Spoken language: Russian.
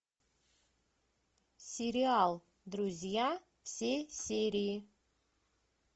сериал друзья все серии